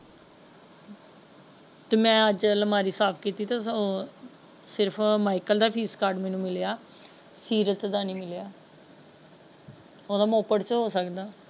ਤੇ ਮੈਂ ਅੱਜ ਅਲਮਾਰੀ ਸਾਫ ਕੀਤੀ ਤੇ ਸਿਰਫ ਮਾਇਕਲ ਦ ਫ਼ੀਸ ਕਾਰਡ ਮੈਨੂੰ ਮਿਲਿਆ ਸੀਰਤ ਦਾ ਨਹੀਂ ਮਿਲੀਆਂ ਉਹਦਾ ਮੋਪੇਡ ਵਿੱਚ ਹੋ ਸਕਦਾ।